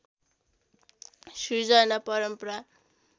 सृजना परम्परा